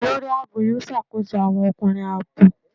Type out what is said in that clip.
Olórí ààbò yóò ṣàkóso àwọn ọkùnrin ààbò.